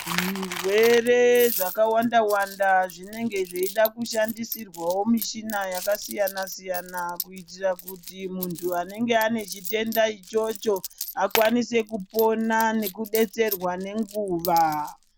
zvirwere zvakawanda -wanda zvinenge zveida kushandisirwawo mishina yakasiyana-siyana kuitira kuti muntu anenge ane chitenda ichocho ,akwanise kupona nekudetserwa nenguva